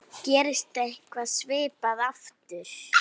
Gerist eitthvað svipað aftur?